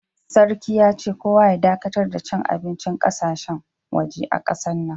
Sarki ya ce, kowa ya dakatar da cin abincin ƙasashen, waje a kasan nan.